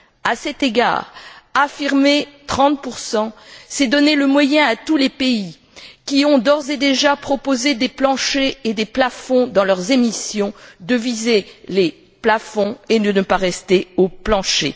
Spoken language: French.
À cet égard, affirmer 30 c'est donner le moyen à tous les pays qui ont d'ores et déjà proposé des planchers et des plafonds dans leurs émissions de viser les plafonds et de ne pas rester au plancher.